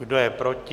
Kdo je proti?